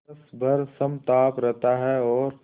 वर्ष भर समताप रहता है और